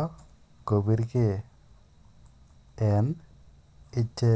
ak kopirkei en icheket.